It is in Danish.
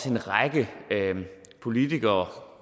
en række politikere